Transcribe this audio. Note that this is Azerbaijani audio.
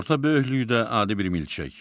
Orta böyüklükdə adi bir milçək.